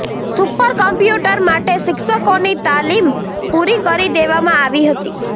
super computer માટે શિક્ષકોની તાલીમ પૂરી કરી દેવામાં આવી હતી